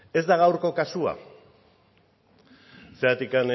ez da gaurko kasua zergatik